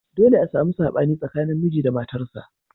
Dolle a samu sabani tsakanin miji da matarsa.